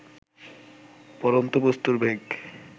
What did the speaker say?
পড়ন্ত বস্তুর বেগ